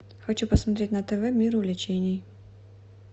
хочу посмотреть на тв мир увлечений